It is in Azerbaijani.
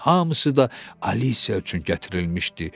Hamısı da Alisiya üçün gətirilmişdi.